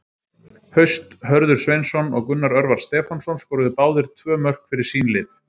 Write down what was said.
Haust Hörður Sveinsson og Gunnar Örvar Stefánsson skoruðu báðir tvö mörk fyrir sín lið.